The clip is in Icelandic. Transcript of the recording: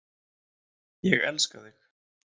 Ég elska þig.